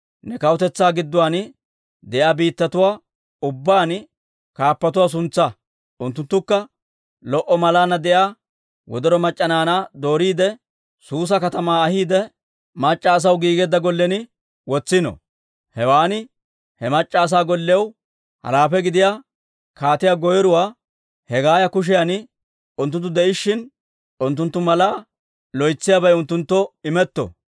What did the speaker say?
ne kawutetsaa gidduwaan de'iyaa biittatuwaa ubbaan kaappatuwaa suntsaa. Unttunttukka lo"o malaanna de'iyaa wodoro mac'c'a naanaa dooriide, Suusa katamaa ahiide, mac'c'a asaw giigeedda gollen wotsino. Hewan he mac'c'a asaa gollew halaafe gidiyaa kaatiyaa goyruwaa Hegaaya kushiyan unttunttu de'ishshin, unttunttu malaa loytsiyaabay unttunttoo imetto.